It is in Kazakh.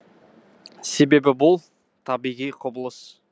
себебі бұл табиғи құбылыс